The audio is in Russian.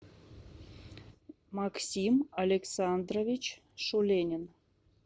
максим александрович шуленин